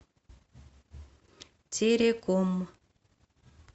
тереком